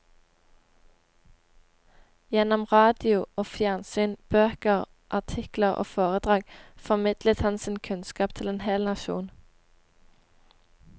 Gjennom radio og fjernsyn, bøker, artikler og foredrag formidlet han sin kunnskap til en hel nasjon.